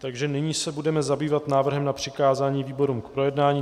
Takže nyní se budeme zabývat návrhem na přikázání výborům k projednání.